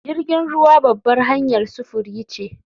Jirgin ruwa babbar hanyar sufuri ce